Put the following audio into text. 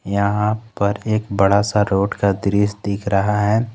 यहां पर एक बड़ा सा रोड का दृश्य दिख रहा है।